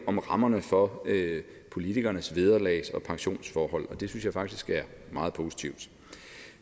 om rammerne for politikernes vederlags og pensionsforhold og det synes jeg faktisk er meget positivt